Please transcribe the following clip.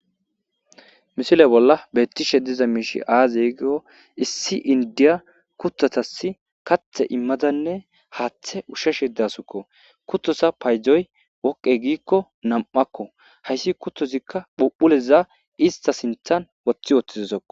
Misile bolla beettishe diza miishi aaza yigio issi indiya kuthatasi kathe immadanne haaththe usheshe dasukko kuttosa paydzoy wokqe giikko nam7akko hayssi kuttozikka phuphuleza ista sinthan woththi ooththizisokko